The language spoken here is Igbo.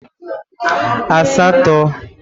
asato